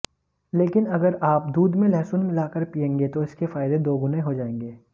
लेकिन अगर आप दूध में लहसुन मिलाकर पिएंगे तो इसके फायदे दोगुने हो जाएंगे